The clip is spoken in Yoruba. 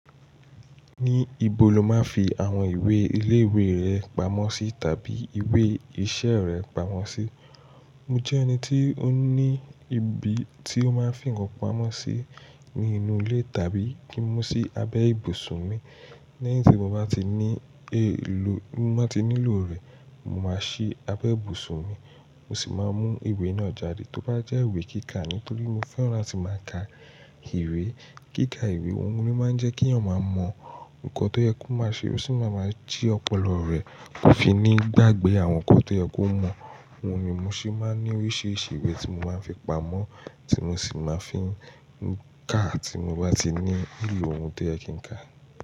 Níbo lo máa ń fi àwọn ìwé ilé ìwé rẹ pamọ́ sí tàbí ìwé iṣẹ́ rẹ pamọ́ sí? Mo jẹ́ ẹni tí ó ní ibi tí ó máa ń fi ńkan pamọ́ sí ní inú ilé tàbí kí ń mú sí abẹ́ ibùsùn mi. Lẹ́yìn tí mo bá ti ní èlò, mo bá ti nílò rẹ̀, mo máa sí abẹ́ ibùsùn mi. Mo sì máa mú ìwé náà jáde, tó bá jẹ́ ìwé kíkà. Nítorí mo fẹ́ràn latí màá ka ìwé, kíkà ìwé. Ohun ni ó máa ń jẹ́ kí èèyàn máa mọ nǹkan tó yẹ kó máa ṣe, ó sì máa ma jí ọpọlọ rẹ̀ ko fi ní gbàgbé àwọn nǹkan tó yẹ kó mọ̀. Ohun ni mo sì máa ń ní oríṣiríṣi ìwé tí mo máa ń fi pamọ́, tí mo sì máa ń fi ń ka tí mo bá ti ní ìlò ohun tó yẹ kí n ka.